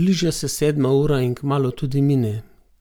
Bliža se sedma ura in kmalu tudi mine,